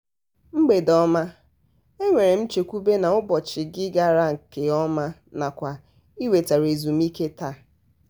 mgbede ọma! e nwere m nchekwube na ụbọchị gị gara nkeọma nakwa ị nwetara ezumiike taa.